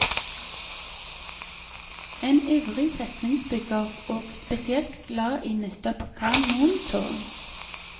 En ivrig festningsbygger, og spesielt glad i nettopp kanontårn.